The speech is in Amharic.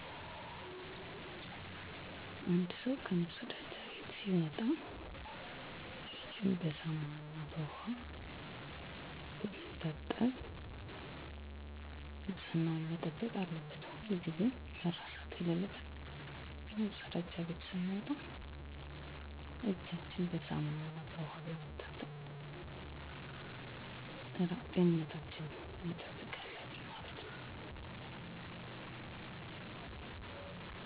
መለወጥ ብችል ምለውጠው የቆሻሻ አወጋገድ ችግራችን ነው ደረቁን ከእርጥብ ቆሻሻ በመለየት ጤናችንን መጠበቅ እንድችል ባደርግ ደስ ይለኛል። እየሰራ ያለው የጤና ስርአት አንድ ሰው እጁን በሳሙና በመታጠብ ራሱን ጤናችን ከሚጎዱ ጀርሞች እየተከላከለ ነው ከመፀዳጃ ቤት መልስ እንዲሁም ከውጭ ቆይቶ ሲመጣ እና ምግብ ከመመገቡ በፊት በውሃ እና ሳሙና ይታጠባል። ለምሳሌ ኮሮና ቫይረስ ከተከሰተ በኋላ ሁሉም ለእራሱ ሰው ጥንቃቄ እያደረገ ነው።